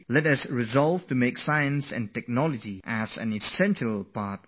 Science, knowledge, technology... all these things should be a part of our journey to development